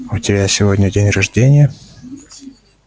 у тебя сегодня день рождения